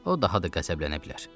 O daha da qəzəblənə bilər.